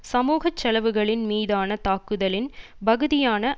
சமூக செலவுகளின் மீதான தாக்குதலின் பகுதியான